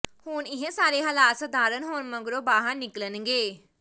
ਹੁਣ ਇਹ ਸਾਰੇ ਹਾਲਾਤ ਸਾਧਾਰਨ ਹੋਣ ਮਗਰੋਂ ਬਾਹਰ ਨਿਕਲਣਗੇ